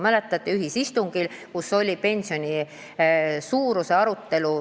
Mäletate, meil oli ühisistung, kus oli pensioni suuruse arutelu.